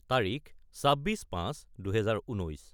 : তাৰিখ 24-05-2019